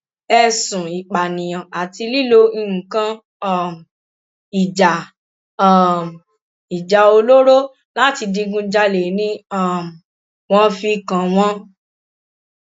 ẹsùn ìpànìyàn àti lílo nǹkan um ìjà um ìjà olóró láti digunjalè ni um wọn fi kàn wọn